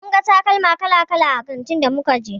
Mun ga takalma kala-kala a kantin da muka je.